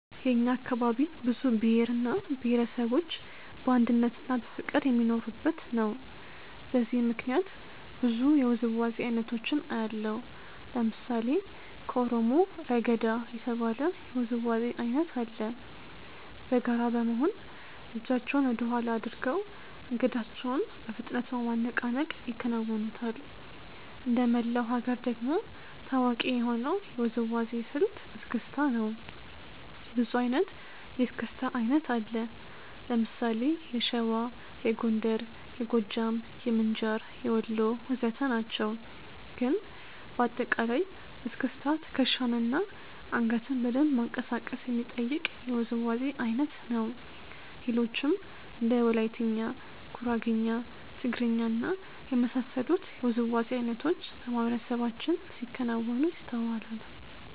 የእኛ አካባቢ ብዙ ብሄር እና ብሄረሰቦች በአንድነትና በፍቅር የሚኖሩበት ነው። በዚህም ምክንያት ብዙ የውዝዋዜ አይነቶችን አያለሁ። ለምሳሌ ከኦሮሞ "ረገዳ" የተባለ የውዝዋዜ አይነት አለ። በጋራ በመሆን እጃቸውን ወደኋላ አድርገው አንገታቸውን በፍጥነት በማነቃነቅ ይከውኑታል። እንደመላው ሀገር ደግሞ ታዋቂ የሆነው የውዝዋዜ ስልት "እስክስታ" ነው። ብዙ አይነት የእስክስታ አይነት አለ። ለምሳሌ የሸዋ፣ የጎንደር፣ የጎጃም፣ የምንጃር፣ የወሎ ወዘተ ናቸው። ግን በአጠቃላይ እስክስታ ትከሻን እና አንገትን በደንብ ማንቀሳቀስ የሚጠይቅ የውዝዋዜ አይነት ነው። ሌሎችም እንደ ወላይትኛ፣ ጉራግኛ፣ ትግርኛ እና የመሳሰሉት የውዝዋዜ አይነቶች በማህበረሰባችን ሲከወኑ ይስተዋላል።